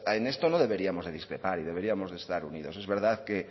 en esto no deberíamos de discrepar y deberíamos de estar unidos es verdad que